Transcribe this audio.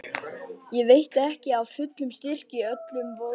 Þá veitti ekki af fullum styrk í öllum vöðvum.